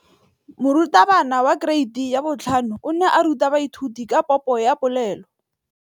Moratabana wa kereiti ya 5 o ne a ruta baithuti ka popô ya polelô.